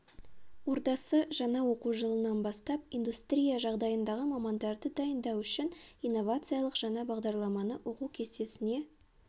ордасы жаңа оқу жылынан бастап индустрия жағдайындағы мамандарды дайындау үшін инновациялық жаңа бағдарламаны оқу кестесіне